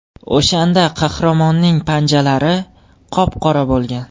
O‘shanda qahramonning panjalari qop-qora bo‘lgan.